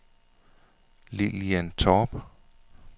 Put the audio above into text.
Lilian Torp